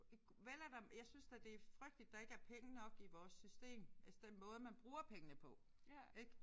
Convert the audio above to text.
Ik vel er der jeg synes da det er frygteligt der ikke er penge nok i vores system altså den måde man bruger pengene på ik